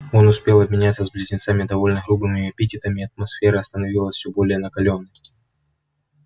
он успел обменяться с близнецами довольно грубыми эпитетами и атмосфера становилась все более накалённой